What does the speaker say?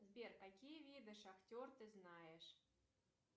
сбер какие виды шахтер ты знаешь